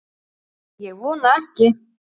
Ég vona ekki